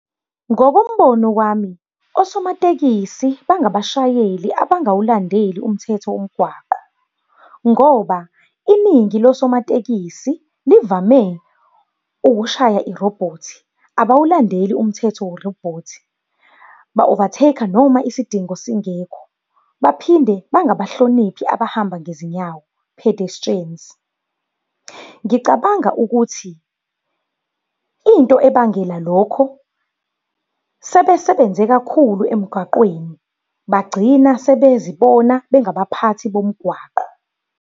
Ngokombono wami, osomatekisi bangabashayeli abangawuladeli umthetho womgwaqo. Ngoba iningi losomatekisi livame ukushaya irobhothi, abawulandeli umthetho werobhothi. Ba-overtake-a, noma isidingo singekho. Baphinde bangabahloniphi abahamba ngezinyawo, pedestrians. Ngicabanga ukuthi, into ebangela lokho sebesebenze kakhulu emgwaqeni bagcina sebezibona bengabaphathi bomgwaqo.